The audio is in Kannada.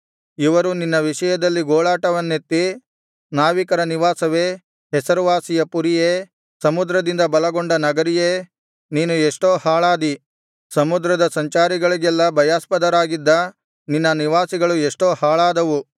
ಇವರು ನಿನ್ನ ವಿಷಯದಲ್ಲಿ ಗೋಳಾಟವನ್ನೆತಿ ನಾವಿಕರ ನಿವಾಸವೇ ಹೆಸರುವಾಸಿಯ ಪುರಿಯೇ ಸಮುದ್ರದಿಂದ ಬಲಗೊಂಡ ನಗರಿಯೇ ನೀನು ಎಷ್ಟೋ ಹಾಳಾದಿ ಸಮುದ್ರದ ಸಂಚಾರಿಗಳಿಗೆಲ್ಲಾ ಭಯಾಸ್ಪದರಾಗಿದ್ದ ನಿನ್ನ ನಿವಾಸಿಗಳು ಎಷ್ಟೋ ಹಾಳಾದವು